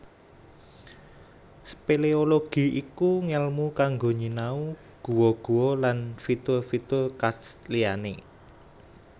Spéléologi iku ngèlmu kanggo nyinau guwa guwa lan fitur fitur karst liyané